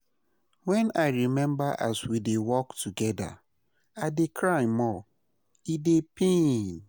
Wen I rememba as we dey work togeda, I dey cry more, e dey pain.